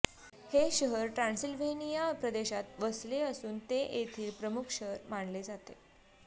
हे शहर ट्रान्सिल्व्हेनिया प्रदेशात वसले असून ते येथील प्रमुख शहर मानले जाते